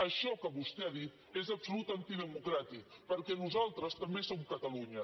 això que vostè ha dit és absolutament antidemocràtic perquè nosaltres també som catalunya